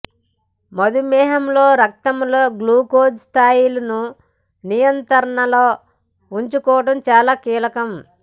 మధుమేహంలో రక్తంలో గ్లూకోజు స్థాయులను నియంత్రణలో ఉంచుకోవటం చాలా కీలకం